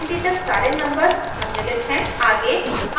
इसमें 1 से 20 तक सारे नंबर्स सम्मिलित हैं